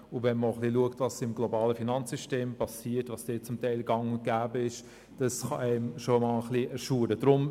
Wenn man auch etwas schaut, was im globalen Finanzsystem geschieht und dort teils gang und gäbe ist, kann es einen schon schaudern.